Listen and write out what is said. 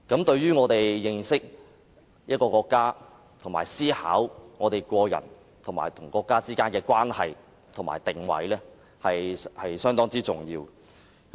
對於我們認識國家，以及思考個人與國家之間的關係和定位，是相當重要的。